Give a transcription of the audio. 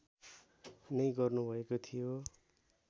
नै गर्नुभएको थियो